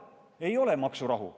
Ei ole maksurahu.